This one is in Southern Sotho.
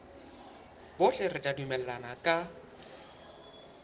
bohle re tla dumellana ka